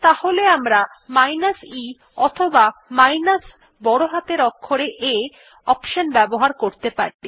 তাহলে আমরা minus e অথবা মাইনাস বড় হাতের অক্ষরে A অপশন ব্যবহার করতে পারি